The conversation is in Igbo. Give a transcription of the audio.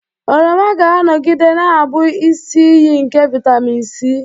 Oroma ga-anọgide na-abụ isi iyi nke vitamin C.